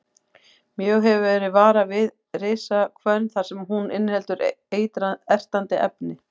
Mjög hefur verið varað við risahvönn þar sem hún inniheldur ertandi efni.